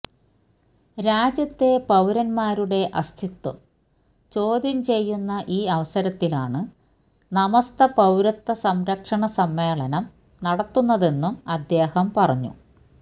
രാജ്യത്തെ പൌരന്മാരുടെ അസ്ഥിത്വം ചോദ്യം ചെയ്യുന്ന ഈ അവസരത്തിലാണ് സമസ്ത പൌരത്വ സംരക്ഷണ സമ്മേളനം നടത്തുന്നതെന്നും അദ്ദേഹം പറഞ്ഞു